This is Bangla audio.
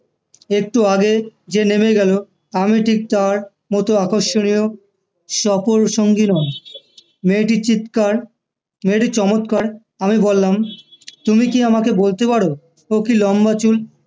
একটু আগে যে নেমে গেলো আমি ঠিক তার মতো আকর্ষণীয় সপুর সঙ্গী নয় মেয়েটির চিৎকার মেয়েটির চমৎকার আমি বললাম তুমি কি আমাকে বলতে পারো তো কি লম্বা চুল